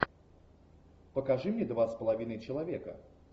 покажи мне два с половиной человека